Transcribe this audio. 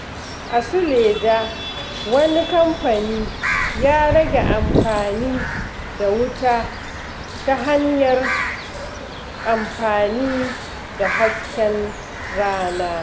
A Suleja, wani kamfani ya rage amfani da wuta ta hanyar amfani da hasken rana.